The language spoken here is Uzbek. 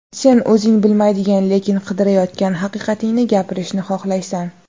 Sen o‘zing bilmaydigan, lekin qidirayotgan haqiqatingni gapirishni xohlaysan.